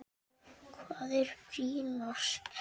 Hvað er brýnast?